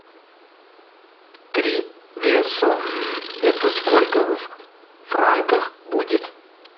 три песо это сколько в франках будет